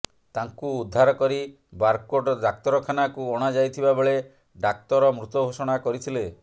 ତାଙ୍କୁ ଉଦ୍ଧାର କରି ବାରକୋଟ ଡାକ୍ତରଖାନାକୁ ଅଣାଯାଇଥିବା ବେଳେ ଡାକ୍ତର ମୃତ ଘୋଷଣା କରିଥିଲେ